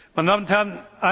Meine Damen und Herren!